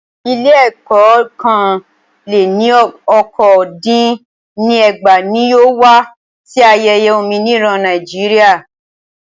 Ilé ẹ̀kọ́ ọ́kàn lẹ́ ní okòó dín ní ẹgbàá ní yóò wá sí ayẹyẹ òmìnira Nàíjíríà.